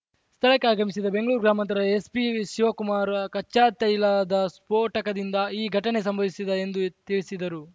ಸ್ಥಳಕ್ಕೆ ಆಗಮಿಸಿದ ಬೆಂಗಳೂರು ಗ್ರಾಮಾಂತರ ಎಸ್‌ಪಿ ಶಿವಕುಮಾರ್‌ ಕಚ್ಚಾತೈಲದ ಸ್ಫೋಟಕದಿಂದ ಈ ಘಟನೆ ಸಂಭವಿಸಿದೆ ಎಂದು ತಿಳಿಸಿದರು